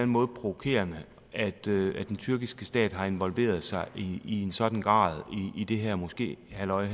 måde provokerende at den tyrkiske stat har involveret sig i en sådan grad i det her moské halløj